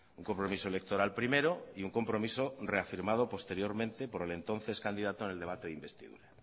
un compromiso electoral primero y un compromiso reafirmado posteriormente por el entonces candidato en el debate de investidura